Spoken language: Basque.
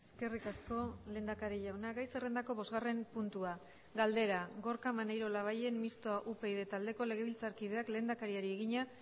eskerrik asko lehendakari jauna gai zerrendako bosgarren puntua galdera gorka maneiro labayen mistoa upyd taldeko legebiltzarkideak lehendakariari egina